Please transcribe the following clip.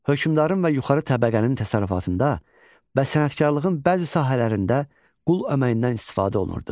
Hökmdarın və yuxarı təbəqənin təsərrüfatında və sənətkarlığın bəzi sahələrində qul əməyindən istifadə olunurdu.